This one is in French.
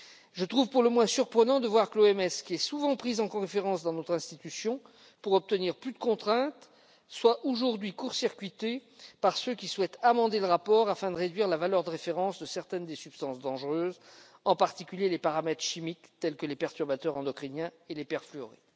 Je trouve pour le moins surprenant de voir que l'OMS, qui est souvent prise pour référence par notre institution pour obtenir plus de contraintes, soit aujourd'hui court circuitée par ceux qui souhaitent amender le rapport afin de réduire la valeur de référence pour certaines des substances dangereuses, en particulier les composés chimiques tels que les perturbateurs endocriniens et les perfluorés.